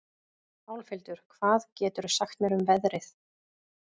Álfhildur, hvað geturðu sagt mér um veðrið?